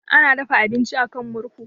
Ana dafa abinci a kan murhu.